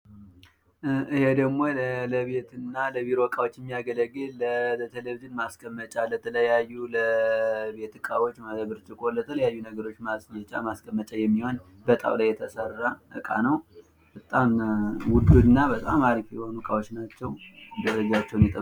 ይሄ ደሞ ለቤትና ለቢሮ እቃዎች የሚያገለግል ለቴሌቪሽን ማስቀመጫ ለተለያዩ ለቤት እቃዎች ለብርጭቆ ለተለያዩ ነገሮች ማስጌጫ ማስቀመጫ የሚሆን በጣውላ የተሰራ እቃ ነው። በጣም ውድ እና በጣም አሪፍ የሆኑ እቃዎች ናቸው። ደረጃቸውን የጠበቁ